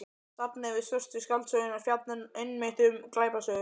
Safnið um Svörtu skáldsöguna fjallar einmitt um glæpasögur.